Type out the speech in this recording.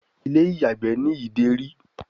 Ilé-ìyàgbé ní Ìdérí.